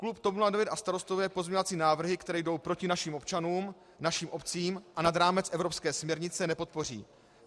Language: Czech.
Klub TOP 09 a Starostové pozměňovací návrhy, které jdou proti našim občanům, našim obcím a nad rámec evropské směrnice, nepodpoří.